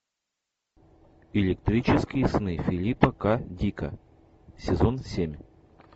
электрические сны филипа к дика сезон семь